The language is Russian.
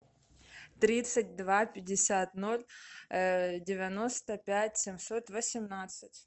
тридцать два пятьдесят ноль девяносто пять семьсот восемнадцать